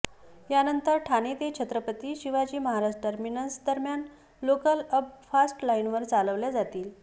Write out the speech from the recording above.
त्यानंतर ठाणे ते छत्रपती शिवाजी महाराज टर्मिनस दरम्यान लोकल अप फास्ट लाईनवर चालवल्या जातील